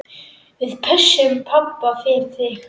Við pössum pabba fyrir þig.